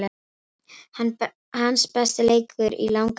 Hans besti leikur í langan tíma.